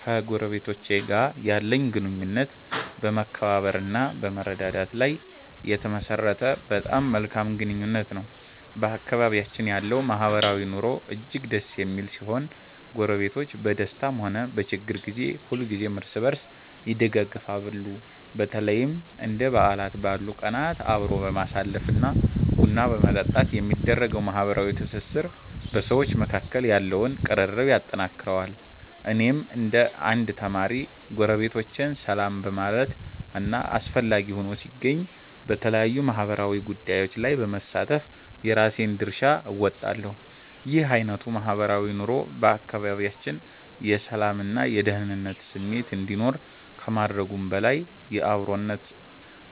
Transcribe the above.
ከጎረቤቶቼ ጋር ያለኝ ግንኙነት በመከባበር እና በመረዳዳት ላይ የተመሠረተ በጣም መልካም ግንኙነት ነው። በአካባቢያችን ያለው ማህበራዊ ኑሮ እጅግ ደስ የሚል ሲሆን፣ ጎረቤቶች በደስታም ሆነ በችግር ጊዜ ሁልጊዜም እርስ በርስ ይደጋገፋሉ። በተለይም እንደ በዓላት ባሉ ቀናት አብሮ በማሳለፍ እና ቡና በመጠጣት የሚደረገው ማህበራዊ ትስስር በሰዎች መካከል ያለውን ቅርርብ ያጠነክረዋል። እኔም እንደ አንድ ተማሪ፣ ጎረቤቶቼን ሰላም በማለት እና አስፈላጊ ሆኖ ሲገኝ በተለያዩ ማህበራዊ ጉዳዮች ላይ በመሳተፍ የራሴን ድርሻ እወጣለሁ። ይህ አይነቱ ማህበራዊ ኑሮ በአካባቢያችን የሰላም እና የደኅንነት ስሜት እንዲኖር ከማድረጉም በላይ፣ የአብሮነት